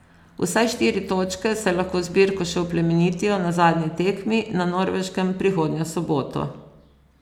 Vsaj štiri točke, saj lahko zbirko še oplemenitijo na zadnji tekmi na Norveškem prihodnjo soboto.